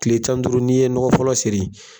Tile tan ni duuru n'i ye nɔgɔ fɔlɔ seri